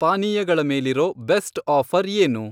ಪಾನೀಯಗಳ ಮೇಲಿರೋ best offer ಏನು?